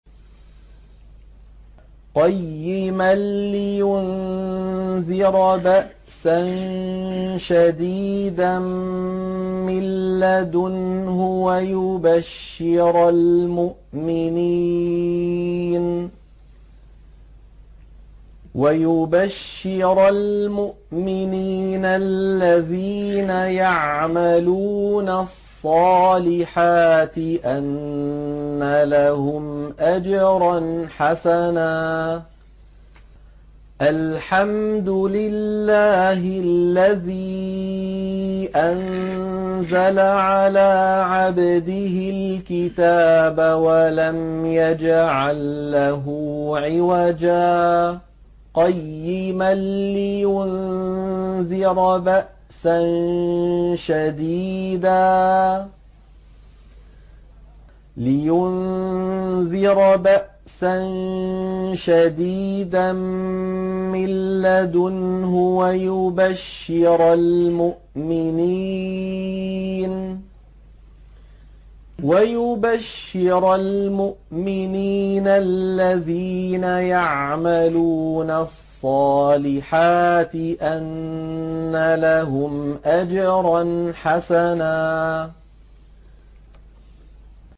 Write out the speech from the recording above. قَيِّمًا لِّيُنذِرَ بَأْسًا شَدِيدًا مِّن لَّدُنْهُ وَيُبَشِّرَ الْمُؤْمِنِينَ الَّذِينَ يَعْمَلُونَ الصَّالِحَاتِ أَنَّ لَهُمْ أَجْرًا حَسَنًا